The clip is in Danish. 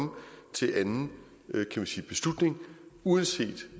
til anden beslutning uanset